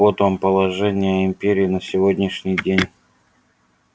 вот вам положение империи на сегодняшний день